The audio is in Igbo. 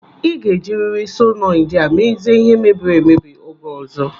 Ị ga-ejiri solenoidi a mezie ihe mebiri emebi oge ọzọ!